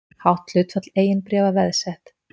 Hátt hlutfall eigin bréfa veðsett